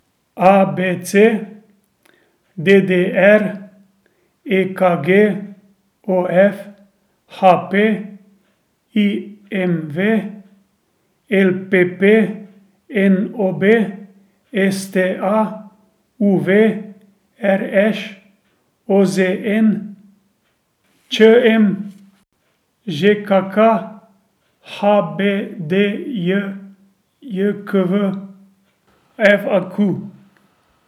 A B C; D D R; E K G; O F; H P; I M V; L P P; N O B; S T A; U V; R Š; O Z N; Č M; Ž K K; H B D J K V; F A Q.